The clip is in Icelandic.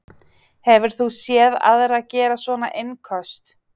Hefur þú séð aðra gera svona innköst?